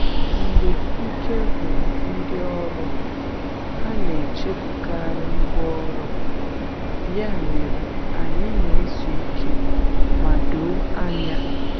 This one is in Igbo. Mgbe ike gwụrụ ndị ọrụ, ha na-echefukarị ngwá ọrụ, ya mere anyị na-ezu ike ma doo anya.